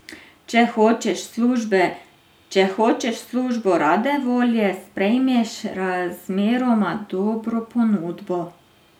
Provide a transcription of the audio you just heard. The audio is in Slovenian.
Če hočeš službo, rade volje sprejmeš razmeroma dobro ponudbo.